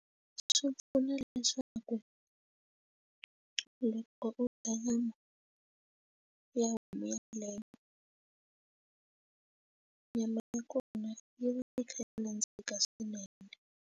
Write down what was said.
Swi pfuna leswaku loko u dya na ya homu yeleyo nyama ya kona yi va yi kha yi nandzika swinene.